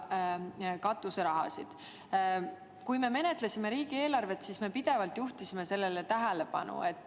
Kui me riigieelarvet menetlesime, siis me juhtisime pidevalt sellele tähelepanu.